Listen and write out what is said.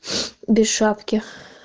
без шапки